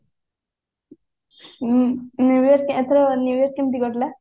new year ଏଥର new year କେମତି କଟିଲା